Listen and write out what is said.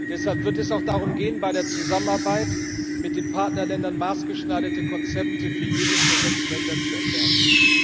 Deshalb wird es auch darum gehen, bei der Zusammenarbeit mit den Partnerländern maßgeschneiderte Konzepte für jedes der sechs Länder zu entwerfen.